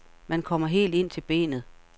Man kommer helt ind til benet.